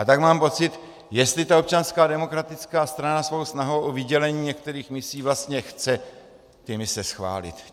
A tak mám pocit, jestli to Občanská demokratická strana svou snahou o vydělení některých misí vlastně chce ty mise schválit.